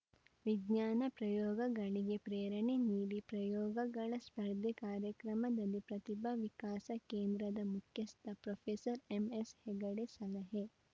ವಿಜ್ಞಾನ ಪ್ರಯೋಗಗಳಿಗೆ ಪ್ರೇರಣೆ ನೀಡಿ ಪ್ರಯೋಗಗಳ ಸ್ಪರ್ಧೆ ಕಾರ್ಯಕ್ರಮದಲ್ಲಿ ಪ್ರತಿಭಾ ವಿಕಾಸ ಕೇಂದ್ರದ ಮುಖ್ಯಸ್ಥ ಪ್ರೊಫೆಸರ್ ಎಂಎಸ್‌ಹೆಗಡೆ ಸಲಹೆ